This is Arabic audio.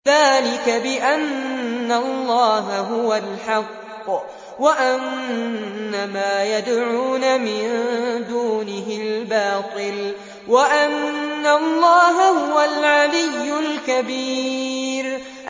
ذَٰلِكَ بِأَنَّ اللَّهَ هُوَ الْحَقُّ وَأَنَّ مَا يَدْعُونَ مِن دُونِهِ الْبَاطِلُ وَأَنَّ اللَّهَ هُوَ الْعَلِيُّ الْكَبِيرُ